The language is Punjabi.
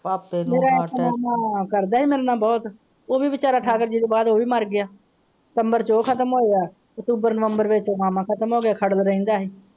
ਮੇਰਾ ਇੱਕ ਮਾਮਾ ਕਰਦਾ ਸੀ ਮੇਰੇ ਨਾਲ ਬਹੁਤ ਇਹ ਵੀ ਵਿਚਾਰਾ ਤੋਂ ਬਾਅਦ ਮਰ ਗਿਆ ਅਕਤੂਬਰ, ਨਵੰਬਰ ਦੇ ਵਿੱਚ ਮਾਮਾ ਖਤਮ ਹੋ ਗਿਆ।